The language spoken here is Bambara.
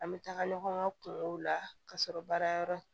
An bɛ taga ɲɔgɔn ŋa kungo la ka sɔrɔ baara yɔrɔ